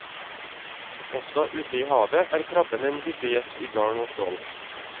Også ute i havet er krabben en hyppig gjest i garn og trål.